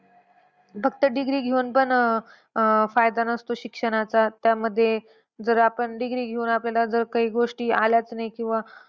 फक्त degree घेऊन पण अह फायदा नसतो शिक्षणाचा. त्यामध्ये जर आपण degree घेऊन आपल्याला जर काही गोष्टी आल्याचं नाही किंवा.